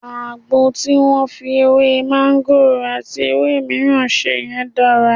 Àgbo tí wọ́n fi ewé máńgòrò àti àwọn ewé mìíràn ṣe yẹn dára.